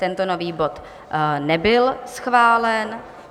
Tento nový bod nebyl schválen.